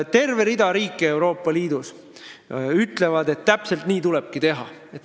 Terve rida riike ütleb, et täpselt nii tulebki teha.